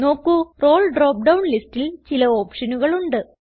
നോക്കു role drop down ലിസ്റ്റിൽ ചില ഓപ്ഷനുകളുണ്ട്